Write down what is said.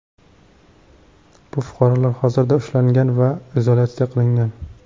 Bu fuqarolar hozirda ushlangan va izolyatsiya qilingan.